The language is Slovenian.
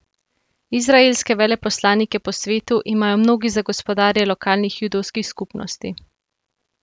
Izraelske veleposlanike po svetu imajo mnogi za gospodarje lokalnih judovskih skupnosti.